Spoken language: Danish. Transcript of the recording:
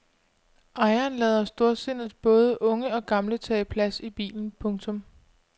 Ejeren lader storsindet både unge og gamle tage plads i bilen. punktum